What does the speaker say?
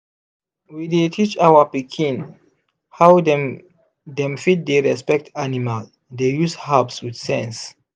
we dey teach our pikin how dem dem fit dey respect animal dey use herbs with sense.